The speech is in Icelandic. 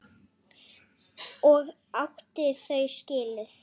Og átti þau skilið.